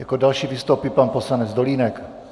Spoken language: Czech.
Jako další vystoupí pan poslanec Dolínek.